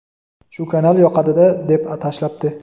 shu kanal yoqadida deb tashlabdi.